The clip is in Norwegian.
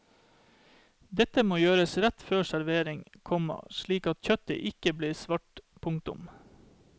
Dette må gjøres rett før servering, komma slik at kjøttet ikke blir svart. punktum